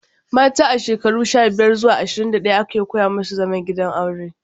Mata a shekarun sha-biyar zuwa ashirin da ɗaya ake koya musu zaman gidan aure.